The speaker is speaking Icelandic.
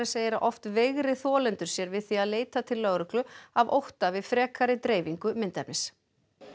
segir að oft veigri þolendur sér við því að leita til lögreglu af ótta við frekari dreifingu myndefnis